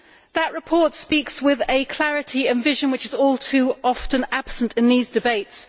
That report speaks with a clarity and vision which is all too often absent in these debates.